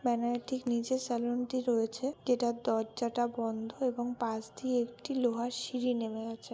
Banner টির নিচে saloon -টি রয়েছে যেটা দরজাটা বন্ধ এবং পাশ দিয়ে একটি লোহার সিঁড়ি নেমে গেছে।